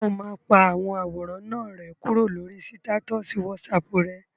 Ṣé o máa pa àwọn àwòrán náà rẹ́ kúrò lórí sítátọ̀sì wásaàpù rẹ?